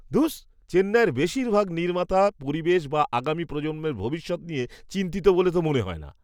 ধুস, চেন্নাইয়ের বেশিরভাগ নির্মাতা পরিবেশ বা আগামী প্রজন্মের ভবিষ্যৎ নিয়ে চিন্তিত বলে তো মনে হয় না।